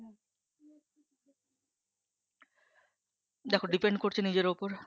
দেখো depend করছে নিজের উপর